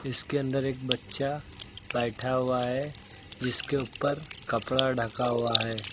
इसके अंदर एक बच्चा बैठा हुआ है जिसके ऊपर कपड़ा ढका हुआ है।